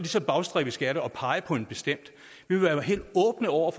så bagstræberisk at pege på en bestemt vi vil være helt åbne over